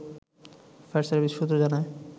fire service সূত্র জানায়